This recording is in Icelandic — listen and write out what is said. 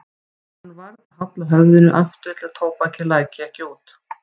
Hann varð að halla höfðinu aftur til að tóbakið læki ekki út.